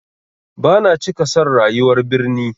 Bana cika son rayuwar birni.